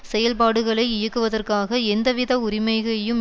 செயல்பாடுகளை இயக்குவதற்கு எந்தவித உரிமைகையும்